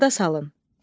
Yada salın.